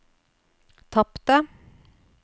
tapte